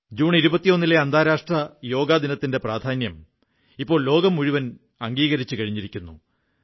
June 21 ലെ അന്താരാഷ്ട്ര യോഗദിനത്തിന്റെ പ്രാധാന്യം ഇപ്പോൾ ലോകം മുഴുവൻ അംഗീകരിച്ചു കഴിഞ്ഞിരിക്കുന്നു